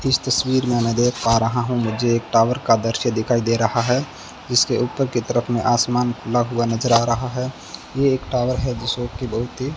इस तस्वीर मे मैं देख पा रहा हूं मुझे एक टॉवर का दृश्य दिखाई दे रहा है जिसके ऊपर की तरफ मे आसमान खुला हुआ नज़र आ रहा है ये एक टॉवर है जिस बहोत ही --